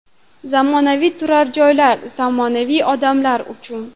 Zamonaviy turar joylar zamonaviy odamlar uchun.